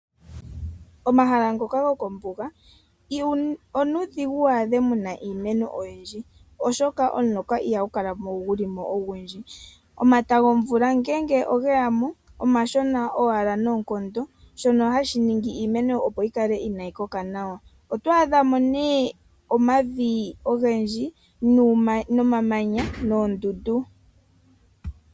Omahala ngoka gokombuga onuudhigu wadhemo muna iimeno oyindji oshoka ihaku kala kuna omuloka ihagu kalako ogundji. Omata gomvula ngele ogeyamo omashona owala noonkondo sho hashi ningi iimeno yikale inayi koka nawa. Oto adhamo nee omavi ogendji nuumanya noomdundu.